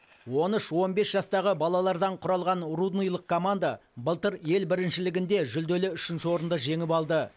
он үш он бес жастағы балалардан құралған рудныйлық команда былтыр ел біріншілігінде жүлделі үшінші орынды жеңіп алды